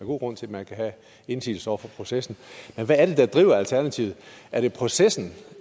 god grund til at man kan have indsigelse over for processen men hvad er det der driver alternativet er det processen